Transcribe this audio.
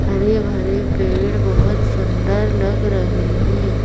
हरे भरे पेड़ बहोत सुंदर लग रहे हैं।